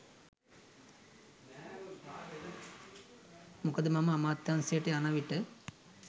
මොකද මම අමාත්‍යාංශයට යන විට